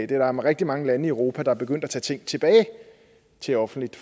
der er rigtig mange lande i europa der er begyndt at tage tingene tilbage til offentligt